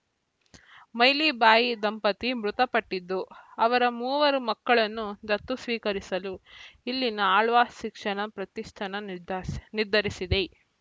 ಮೈಲಿಬಾಯಿ ದಂಪತಿ ಮೃತಪಟ್ಟಿದ್ದು ಅವರ ಮೂವರು ಮಕ್ಕಳನ್ನು ದತ್ತು ಸ್ವೀಕರಿಸಲು ಇಲ್ಲಿನ ಆಳ್ವಾಸ್‌ ಶಿಕ್ಷಣ ಪ್ರತಿಷ್ಠಾನ ನಿರ್ದಾರ್ ನಿರ್ಧರಿಸಿದೆ